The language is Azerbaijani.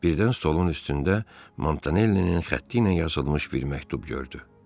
Birdən stolun üstündə Mantanellinin xətti ilə yazılmış bir məktub gördü.